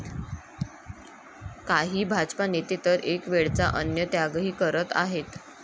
काही भाजपा नेते तर एक वेळचा अन्नत्यागही करत आहेत.